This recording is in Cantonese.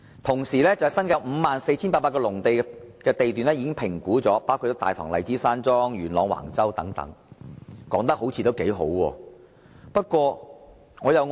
此外，新界各區共有 54,800 多個農地地段的物業已評估差餉，包括大棠荔枝山莊及元朗橫洲等，成績看似不俗。